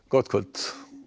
gott kvöld